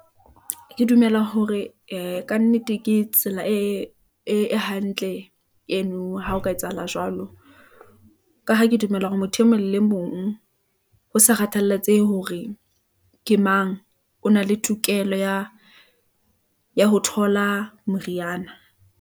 Ke dumela hore e kannete ke tsela e hantle , eno ha o ka etsahala jwalo , ka ha ke dumela hore motho e mong le mong ho sa kgathalatsehe hore ke mang . O na le tokelo ya ho thola moriana.